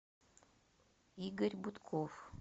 игорь бутков